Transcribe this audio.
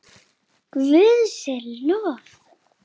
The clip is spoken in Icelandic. Guði sé lof!